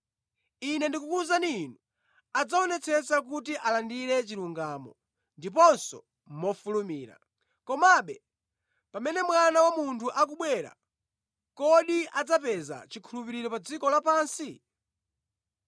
Ine ndikukuwuzani inu, adzaonetsetsa kuti alandire chilungamo, ndiponso mofulumira. Komabe, pamene Mwana wa Munthu akubwera, kodi adzapeza chikhulupiriro pa dziko lapansi?”